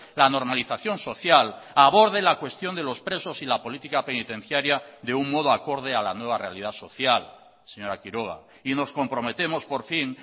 la normalización social aborde la cuestión de los presos y la política penitenciaria de un modo acorde a la nueva realidad social señora quiroga y nos comprometemos por fin